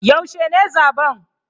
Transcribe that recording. Yaushe ne zaben?